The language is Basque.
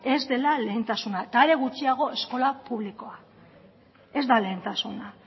ez dela lehentasuna eta are gutxiago eskola publikoa ez da lehentasuna